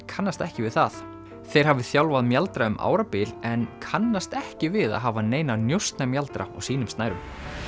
kannast ekki við það þeir hafi þjálfað mjaldra um árabil en kannast ekki við að hafa neina á sínum snærum